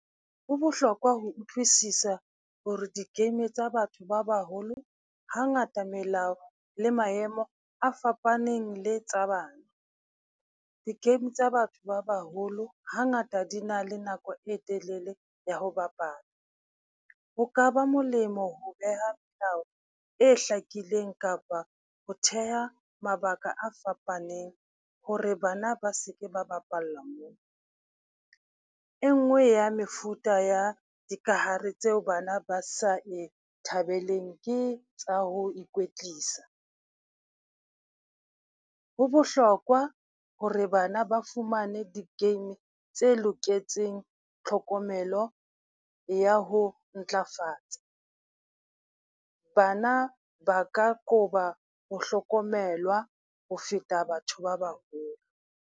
Ho bohlokwa ho utlwisisa hore di-game tsa batho ba baholo hangata, melao le maemo a fapaneng le tsa bana. Di-game tsa batho ba baholo hangata di na le nako e telele ya ho bapala, ho ka ba molemo ho beha melao e hlakileng kapa ho theha mabaka a fapaneng ho re bana ba seke ba bapalla moo. E nngwe ya mefuta ya dikahare tseo bana ba sa e thabeleng ke tsa ho ikwetlisa. Ho bohlokwa ho re bana ba fumane di-game tse loketseng tlhokomelo ya ho ntlafatsa. Bana ba ka qoba ho hlokomelwa ho feta batho ba baholo.